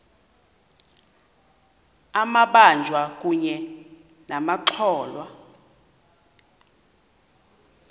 amabanjwa kunye nabatyholwa